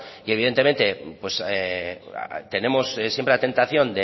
que evidentemente tenemos siempre la tentación